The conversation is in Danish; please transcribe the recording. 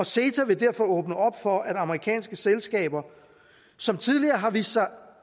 ceta vil derfor åbne op for at amerikanske selskaber som tidligere har vist sig